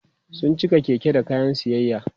sun cika Keke da kayan siyayya